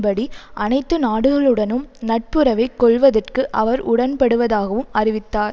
படி அனைத்து நாடுகளுடனும் நட்புறவை கொள்வதற்கு அவர் உடன்படுவதாகவும் அறிவித்தார்